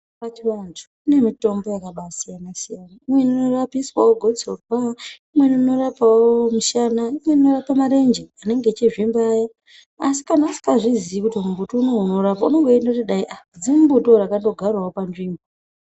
Pachivanthu kune mitombo yakabaa siyana-siyana. Imweni inorapiswawo gotsorwa, imweni inorapawo mushana, imweni inorapa marenje anenge eichizvimba aya, asi kana usikazviziiwo kuti mumbuti unowu unotorapa unenge weindoti dzimumbutiwo rakatogarawo panzvimbo.